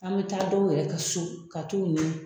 An bɛ taa dɔw yɛrɛ ka so ka t'u ɲini